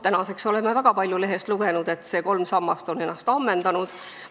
Praeguseks oleme väga palju lehest lugenud, et see kolm sammast on ennast ammendanud.